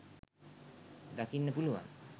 දකින්න පුළුවන්.